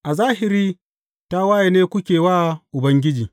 A zahiri tawaye ne kuke wa Ubangiji.